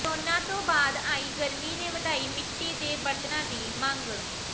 corona ਤੋਂ ਬਾਅਦ ਆਈ ਗਰਮੀ ਨੇ ਵਧਾਈ ਮਿੱਟੀ ਦੇ ਬਰਤਨਾਂ ਦੀ ਮੰਗ